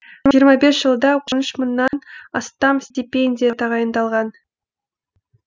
жиырма бес жылда он үш мыңнан астам стипендия тағайындалған